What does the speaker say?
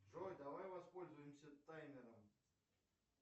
джой давай воспользуемся таймером